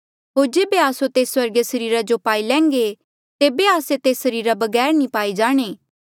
होर जेबे आस्सो तेस स्वर्गीय सरीरा जो पाई लैन्घे तेबे आस्से तेस सरीरा बगैर नी पाए जाणे